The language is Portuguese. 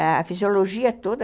A fisiologia toda...